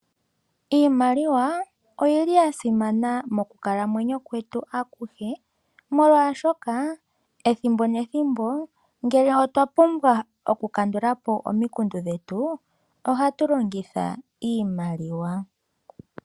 Iimaliwa oyasimana mokunkalamwenyo kwetu akuhe molwashoka oyo hayi longithwa okukandula po omikundu ethimbo nethimbo.